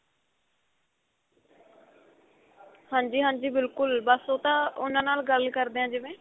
ਹਾਂਜੀ ਹਾਂਜੀ ਬਿਲਕੁਲ ਬੱਸ ਉਹ ਤਾਂ ਉਨ੍ਹਾਂ ਨਾਲ ਗੱਲ ਕਰਦੇ ਆਂ ਜਿਵੇਂ